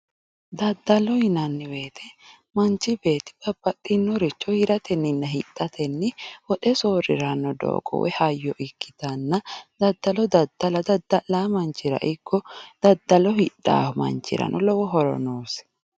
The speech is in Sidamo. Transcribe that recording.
Daddalo yinnanni woyte manchi beetti babbaxinore coyiratenna hidhatenni woxe soorirano doogo woyi hayyo ikkittanna daddalo dadda'la dadda'lano manchira ikko daddalo hidhano manchirano lowo horo noosi.